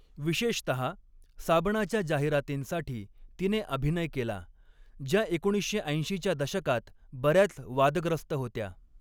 विशेषतहा साबणाच्या जाहिरातींसाठी तिने अभिनय केला, ज्या एकोणीसशे ऐंशीच्या दशकात बऱ्याच वादग्रस्त होत्या.